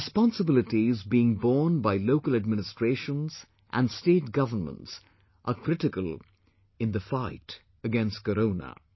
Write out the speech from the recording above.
The responsibilities being borne by local administrations and state governments are critical in the fight against Corona